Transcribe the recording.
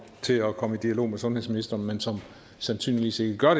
til at komme i dialog med sundhedsministeren men som sandsynligvis ikke gør